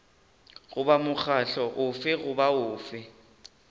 goba mokgatlo ofe goba ofe